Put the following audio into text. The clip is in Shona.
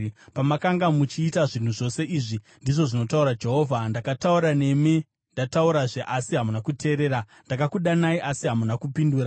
Pamakanga muchiita zvinhu zvose izvi, ndizvo zvinotaura Jehovha, ndakataura nemi ndataurazve asi hamuna kuteerera; ndakakudanai asi hamuna kupindura.